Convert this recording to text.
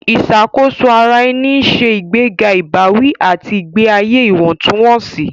Ìṣàkóso ara ẹni ń ṣe ìgbéga ìbáwí àti ìgbé ayé ìwọ̀ntúnwọ̀nsì.